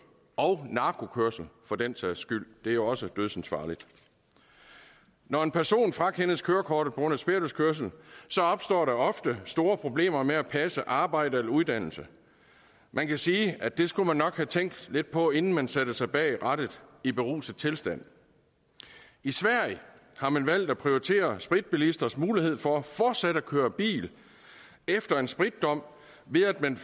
og narkokørsel for den sags skyld det er jo også dødsensfarligt når en person frakendes kørekortet på grund af spirituskørsel opstår der ofte store problemer med at passe arbejde eller uddannelse man kan sige at det skulle man nok have tænkt lidt på inden man satte sig bag rattet i beruset tilstand i sverige har man valgt at prioritere spritbilisters mulighed for fortsat at køre bil efter en spritdom ved at man